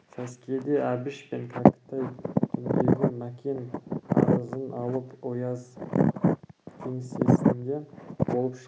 сәскеде әбіш пен кәкітай түндегі мәкен арызын алып ояз кеңсесінде болып шыққан